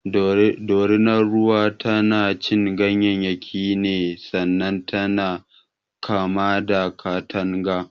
Dorinar ruwa tanacin ganyayyaki ne sannan tana kama da katanga.